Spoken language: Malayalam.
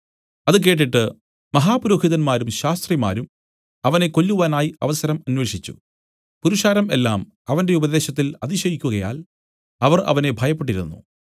അത് കേട്ടിട്ട് മഹാപുരോഹിതന്മാരും ശാസ്ത്രിമാരും അവനെ കൊല്ലുവാനായി അവസരം അന്വേഷിച്ചു പുരുഷാരം എല്ലാം അവന്റെ ഉപദേശത്തിൽ അതിശയിക്കുകയാൽ അവർ അവനെ ഭയപ്പെട്ടിരുന്നു